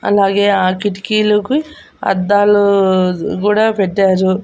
అలాగే ఆ కిటికీలోకి అద్దాలూ గూడ పెట్టారు.